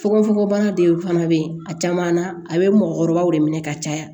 Fogofogobana de fana bɛ yen a caman na a bɛ mɔgɔkɔrɔbaw de minɛ ka caya